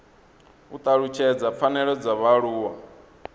u talutshedza pfanelo dza vhaaluwa